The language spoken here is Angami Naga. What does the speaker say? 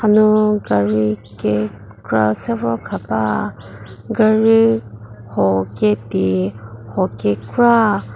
hanu gari kekra se vor khaba gari huo ketei huo kekra.